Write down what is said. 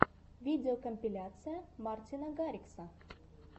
видеокомпиляция мартина гаррикса